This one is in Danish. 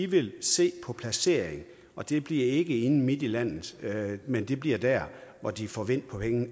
vil se på placeringen og det bliver ikke inde midt i landet men det bliver der hvor de får vind